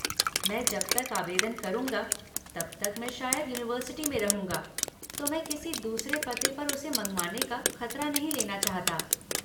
मैं जब तक आवेदन करूँगा तब तक मैं शायद यूनिवर्सिटि में रहूँगा तो मैं किसी दूसरे पते पर उसे मँगवाने का खतरा नहीं लेना चाहता।